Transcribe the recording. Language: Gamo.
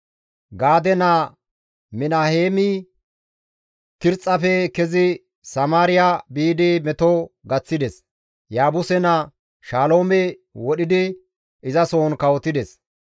Gaade naa Minaheemi Tirxxafe kezi Samaariya biidi meto gaththides; Yaabuse naa Shaloome wodhidi izasohon kawotides.